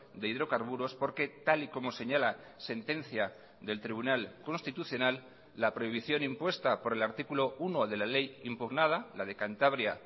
de hidrocarburos porque tal y como señala sentencia del tribunal constitucional la prohibición impuesta por el artículo uno de la ley impugnada la de cantabria